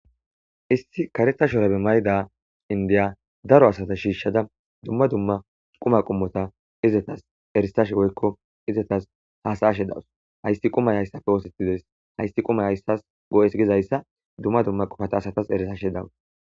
Issi kareta shorabe mayda indiya daro asata shiishshada dumma dumma quma qumota izetas eristash goykko izetas haasaashe dawus haysti qumay hayssafe oosetides haysti qumay hayssas go7es gizayssa dumma dumma qufata asatas eresashe dawus